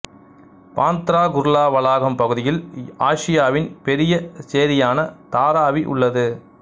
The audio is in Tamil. பாந்த்ராகுர்லா வளாகம் பகுதியில் ஆசியாவின் பெரிய சேரியான தாராவி உள்ளது